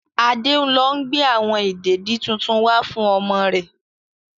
Adé ń lọ gbe awon ìdèdi tuntun wá fún ọmọ rẹ.